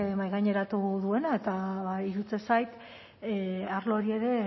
mahaigaineratu duena eta iruditzen zait arlo hori ere